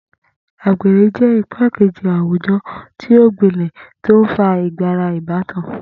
Agbere jẹ igbakeji awujọ ti o gbilẹ ti o nfa igara ibatan.